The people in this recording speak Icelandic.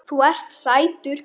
Þú ert sætur!